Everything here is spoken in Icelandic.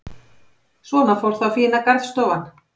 Svona fór þá fína garðstofan.